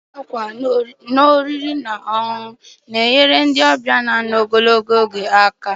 Ọrụ ịsa ákwà na ụlọ oriri na ọṅụṅụ na-enye aka maka ndị ọbịa na ano ogologo oge.